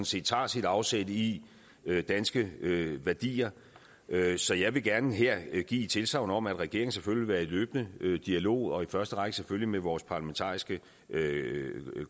set tager sit afsæt i danske værdier så jeg vil gerne her give et tilsagn om at regeringen selvfølgelig vil være i løbende dialog og i første række selvfølgelig med vores parlamentariske